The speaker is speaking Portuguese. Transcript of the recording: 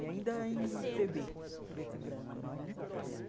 E ainda em Pê Bê, preto e branco. Era um